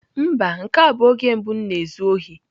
Mba, nke a bụ oge mbụ m na-ezu ohi.